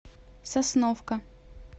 сосновка